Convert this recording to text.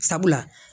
Sabula